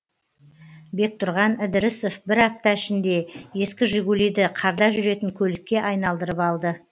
бектұрған ідірісов бір апта ішінде ескі жигулиді қарда жүретін көлікке айналдырып алды